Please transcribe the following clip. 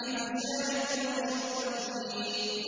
فَشَارِبُونَ شُرْبَ الْهِيمِ